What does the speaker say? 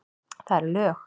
Það eru lög.